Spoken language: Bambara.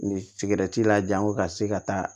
Ni sigɛrɛti la jago ka se ka taa